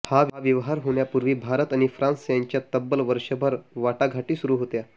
हा व्यवहार होण्यापूर्वी भारत आणि फ्रान्स यांच्यात तब्बल वर्षभर वाटाघाटी सुरु होत्या